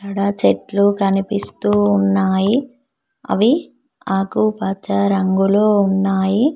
అక్కడ చెట్లు కనిపిస్తూ ఉన్నాయి అవి ఆకుపచ్చ రంగులో ఉన్నాయి.